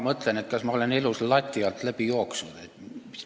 Ma mõtlen, kas ma olen elus lati alt läbi jooksnud.